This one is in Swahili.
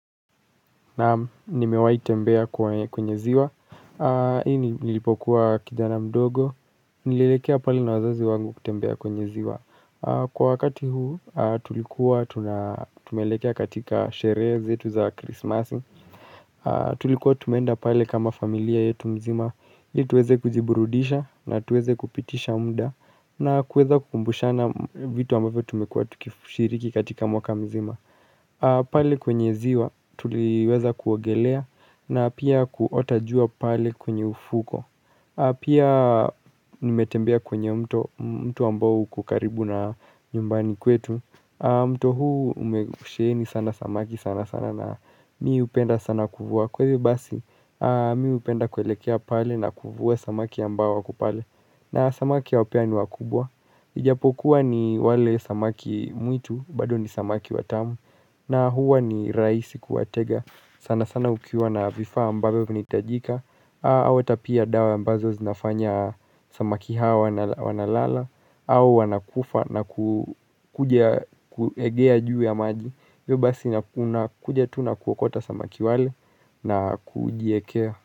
Naam nimewai tembea kwenye ziwa Hii nilipokuwa kijana mdogo Nilelekea pali na wazazi wangu kutembea kwenye ziwa Kwa wakati huu tulikuwa tumelekea katika shere zetu za krismasi Tulikuwa tumenda pale kama familia yetu mzima Ituweze kujiburudisha na tuweze kupitisha mda na kweza kukumbushana vitu ambavo tumekua tukifushiriki katika mwaka mzima pale kwenye ziwa tuliweza kuwogelea na pia kuota jua pale kwenye ufuko Pia nimetembea kwenye mto ambao kukaribu na nyumbani kwetu mto huu umeusheni sana samaki sana sana na mi upenda sana kufuwa Kwezi basi miupenda kwelekea pale na kufuwa samaki ambao waku pale na samaki ya upea ni wakubwa Ijapokuwa ni wale samaki mwitu bado ni samaki watamu na huwa ni raisi kuwatega sana sana ukiwa na vifaa ambavo vinaitajika Awata pia dawa ambazo zinafanya samaki hawa nalala Awu wanakufa na kujaegea juu ya maji Yobasi nakuna kuja tuna kuokota samaki wale na kujiekea.